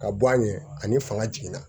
Ka bɔ a ɲɛ ani fanga jiginna